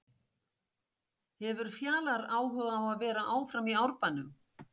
Hefur Fjalar áhuga á að vera áfram í Árbænum?